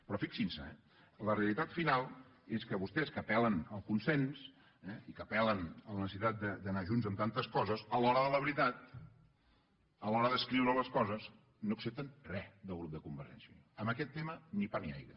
però fixin s’hi la realitat final és que vostès que apellen al consens i que apel·len a la necessitat d’anar junts en tantes coses a l’hora de la veritat a l’hora d’escriure les coses no accepten re del grup de convergència i unió en aquest tema ni pa ni aigua